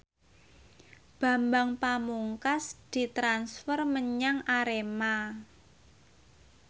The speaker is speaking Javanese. Bambang Pamungkas ditransfer menyang Arema